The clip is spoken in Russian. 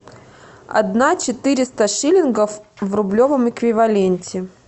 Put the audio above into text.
одна четыреста шиллингов в рублевом эквиваленте